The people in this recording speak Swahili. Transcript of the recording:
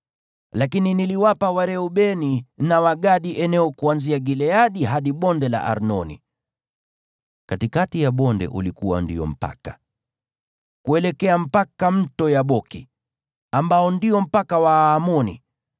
Lakini niliwapa Wareubeni na Wagadi eneo kuanzia Gileadi hadi Bonde la Arnoni (katikati ya bonde ulikuwa ndio mpaka), kuelekea mpaka Mto Yaboki, ambao ndio mpaka wa Waamoni.